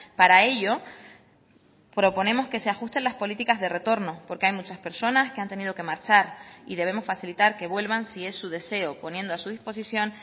para ello proponemos que se ajusten las políticas de retorno porque hay muchas personas que han tenido que marchar y debemos facilitar que vuelvan si es su deseo poniendo a su disposición